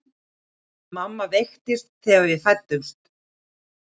Mamma veiktist þegar við fæddumst.